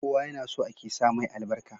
Kowa yana so ake sa mai albarka